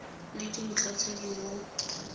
le dintlha tse di mo